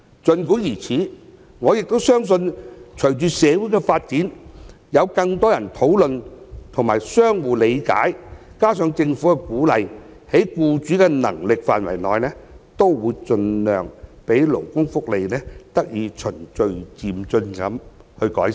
儘管如此，我亦相信隨着社會發展，有更多人討論和互相理解，加上政府鼓勵，在僱主的能力範圍內也會盡量讓勞工福利得以循序漸進地改善。